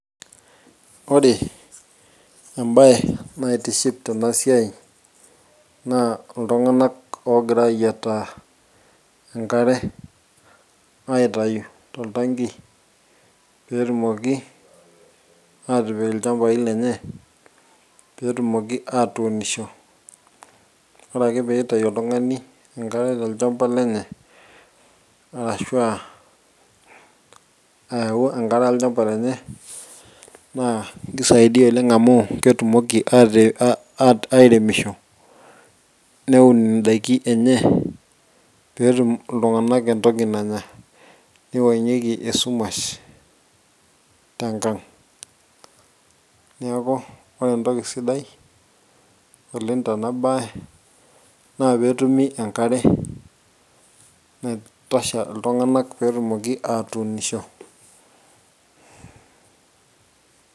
ore embaye naitiship tena siai naa iltung'anak ogira ayiataa enkare aitayu toltanki petumoki atipik ilchambai lenye petumoki atuunisho ore ake piitayu oltung'ani enkare tolchamba lenye arashua ayau enkare olchamba lenye naa kisaidia oleng amu ketumoki atii airemisho neun indaiki enye peetum iltung'anak entoki nanya nipang'ieki esumash tenkang niaku ore entoki sidai oleng tena baye naa petumi enkare naitosha iltung'anak petumoki atuunisho.